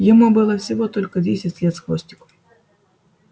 ему было всего только десять лет с хвостиком